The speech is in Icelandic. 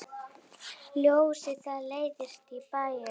Ljósið það leiðir í bæinn.